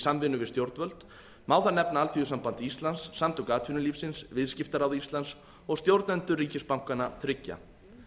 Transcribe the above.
samvinnu við stjórnvöld má þar nefna alþýðusamband íslands samtök atvinnulífsins viðskiptaráð íslands og stjórnendur ríkisbankanna þriggja